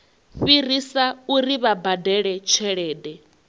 fhirisa uri vha badele tshelede